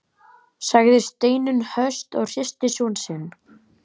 sagði Steinunn höst og hristi son sinn.